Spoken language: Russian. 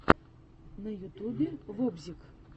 на ютюбе вобзик